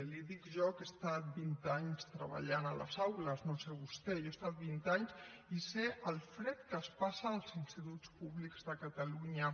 li ho dic jo que he estat vint anys treballant a les aules no ho sé vostè jo hi he estat vint anys i sé el fred que es passa als instituts públics de catalunya